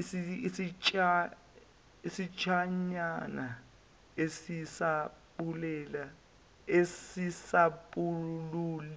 isitshanyana esisapuleti